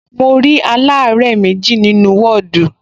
Mo rí aláàárẹ̀ méjì nínú ní wọ́ọ̀dù